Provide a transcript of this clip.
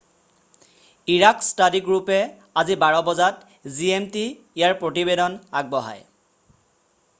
Iraq study গ্ৰুপে আজি 12.00 বজাত gmt ইয়াৰ প্ৰতিবেদন আগবঢ়ায়